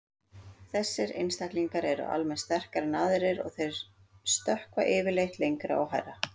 Þessir einstaklingar eru almennt sterkari en aðrir og þeir stökkva yfirleitt lengra og hærra.